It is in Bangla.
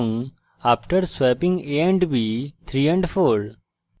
after swapping a and b 3 and 4